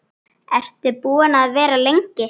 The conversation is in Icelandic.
Ertu búin að vera lengi?